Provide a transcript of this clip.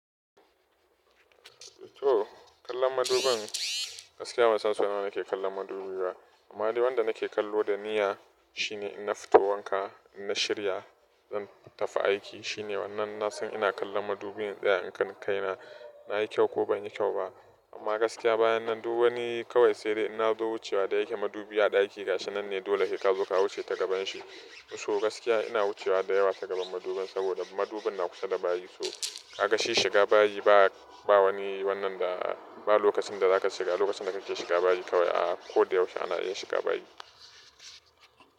To kallon madubin gaskiya ban san so nawa nake kallon madubi ba. Amma dai wanda nake kallo da niyya shine inna fito wanka, in na shirya zan tafi aiki, shine wannan na san ina kallon madubin in tsaya in kalla kaina, na yi kyau ko ban yi kyau ba. Amma gaskiya bayan nan duk wani kawai sai dai inna zo wucewa da yake madubi a ɗakina, gashinan ne dole sai kazo ka wuce ta gaban shi. To gaskiya ina wucewa da yawa ta gaban madubin saboda madubin na kusa da bayi. To, ga shi shiga bayi ba, ba wani wannan da ba lokacin da za ka shiga, lokacin da kake shiga bayi kawai a ko da yaushe ana iya shiga bayi.